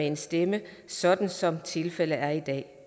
en stemme sådan som tilfældet er i dag